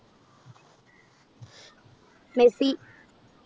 Messi.